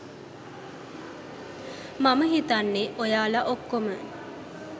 මම හිතන්නේ ඔයාලා ඔක්කොම